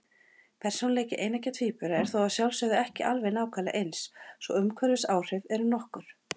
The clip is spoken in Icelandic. Persónuleiki eineggja tvíbura er þó að sjálfsögðu ekki alveg nákvæmlega eins, svo umhverfisáhrif eru nokkur.